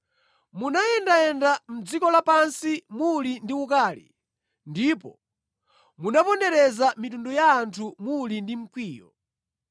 Munayendayenda mʼdziko lapansi muli ndi ukali, ndipo munapondereza mitundu ya anthu muli ndi mkwiyo.